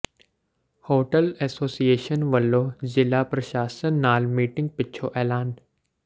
hotel association ਵੱਲੋਂ ਜ਼ਿਲ੍ਹਾ ਪ੍ਰਸ਼ਾਸਨ ਨਾਲ ਮੀਟਿੰਗ ਪਿੱਛੋਂ ਐਲਾਨ